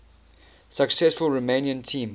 successful romanian team